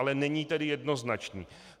Ale není tedy jednoznačný.